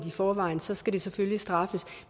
i forvejen så skal det selvfølgelig straffes